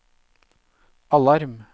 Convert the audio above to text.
alarm